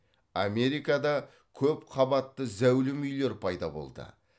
америкада көп қабатты зәулім үйлер пайда болды